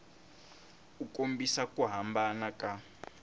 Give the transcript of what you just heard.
u kombisa ku hambana ka